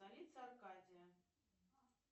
столица аркадия